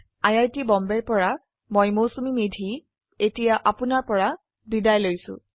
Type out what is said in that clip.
I I T Bombay ৰ পৰা মই মৌচুমী মেধী এতিয়া আপুনাৰ পৰা বিদায় লৈছো